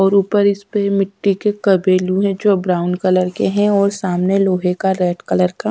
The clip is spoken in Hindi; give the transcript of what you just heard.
और ऊपर इस पे मिट्टी के कबेलू हैं जो ब्राउन कलर के हैं और सामने लोहे का रेड कलर का--